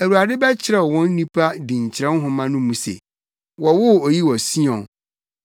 Awurade bɛkyerɛw wɔ nnipa dinkyerɛw nhoma no mu se, “Wɔwoo oyi wɔ Sion.”